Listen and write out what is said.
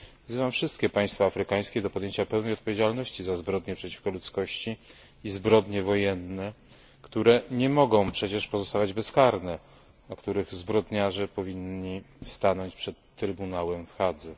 Wzywam wszystkie państwa afrykańskie do podjęcia pełnej odpowiedzialności za zbrodnie przeciwko ludzkości i zbrodnie wojenne, które nie mogą pozostawać bezkarne, a których zbrodniarze powinni stanąć przed trybunałem w Hadze.